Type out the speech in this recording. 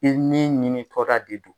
I min ɲini tɔla de do.